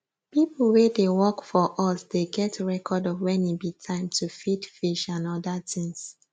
people wey dey work for us dey get record of when e be time to feed fish and other things